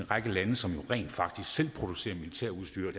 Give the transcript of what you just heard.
række lande som jo faktisk selv producerer militærudstyr